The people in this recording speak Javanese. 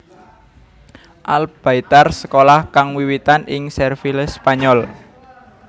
Al Baitar sekolah kang wiwitan ing Serville Spanyol